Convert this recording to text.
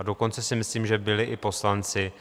A dokonce si myslím, že byli i poslanci